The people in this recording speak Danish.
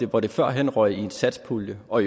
hvor det førhen røg i en satspulje og